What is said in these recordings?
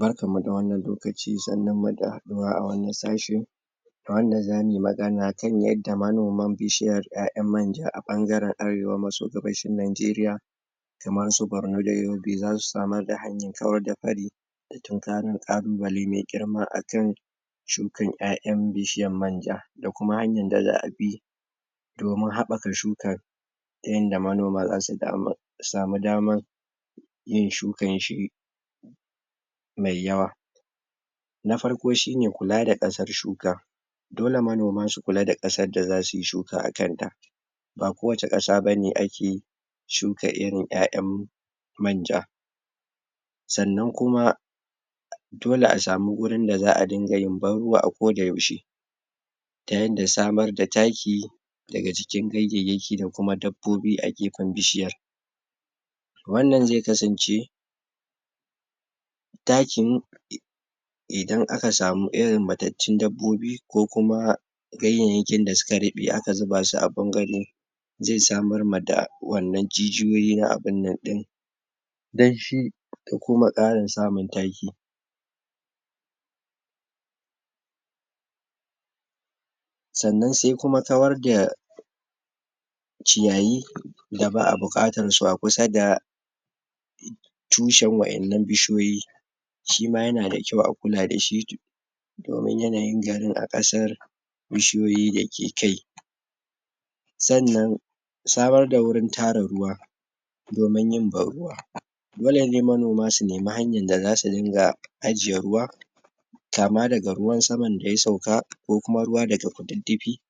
Barkan mu da wannan lokaci sannun muda, Haɗuwa a wannan sashe A wannan zamuyi magana akan yadda manoma bishiyar ƴaƴan manja a ɓangaren arewa maso gabashin najeriya Kamar su barno da yobe zasu samar da hanyar kawar da Akwai ƙalubalai mai girma akan Shukan ƴaƴan bishiyar manja Da kuma hanyar da za'a bi Domin habbaka shukar Ta yanda manoma zasu Samu damar Yin shukar shi Mai yawa Na farko shine kula da kasar shuka Dole manoma su kula da kasar da zasuyi shuka akan ta Ba kowacce kasa bane ake Shuka irin ƴaƴan Manja, Sannan kuma Dole a samu wurin da za'a ringa yin ban ruwa a koda yaushe Ta yarda samar da taki Daga cikin gayyeyaki da kuma dabbobi a gefen bishiyar Wannan zai kasance Takin.. Idan aka samu, irin mattatun dabbobi Ko kuma Gayyeyakin da suka ruɓe aka zuba su a Zai samar mada Wannan jijiyoyi na abinnan ɗin Danshi, Da kuma ƙarin samun taki Sannan sai kuma kawar da Ciyayi Da ba'a buƙatar su a kusa da, Tushen wa'ennan bishiyoyi Shima yana da kwau a kula dashi Domin yanayin garin a kasar Bishiyoyi dake kai Sannan Samar da wurin tara ruwa Domin yin ban ruwa Dole ne manoma su nemi hanyar da zasu dinga Ajiye ruwa Kama daga ruwan saman daya sauka Ko kuma ruwa daga ƙududdufi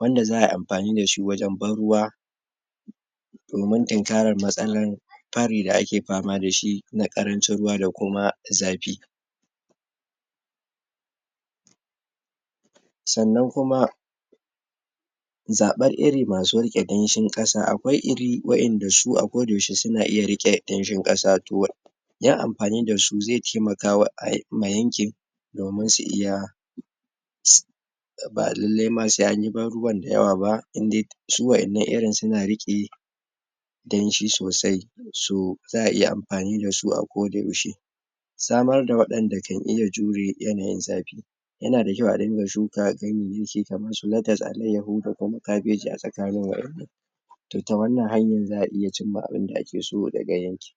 Wanda za ayi amfani dashi wajen ban ruwa Domin tinkarar matsalar Pari da ake fama dashi Na ƙarancin ruwa da kuma Zafi Sannan kuma Zaɓar iri masu rike danshin kasa akwai Iri waƴanda su ba koda yaushe suna iya rike Damshin kasa To Yan amfani dasu zai taimaka wa ai, mai yankin Domin su iya Um ba lallai ma sai anyi baruwan dayawa ba Su waƴannan irin suna riƙe Danshi sosai So.. Za'ai iya amfani dasu a koda yaushe Samar da waɗanda kan iya jure yanayin zafi Yana da kwau a ringa shuka Ganyeyyaki kamar su latas, alaiyahu da kuma kabeji a tsakanin waƴannan To, ta wannan hanyar za'a iya cinma abinda ake so daga yankin